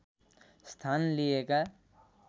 स्थान लिएका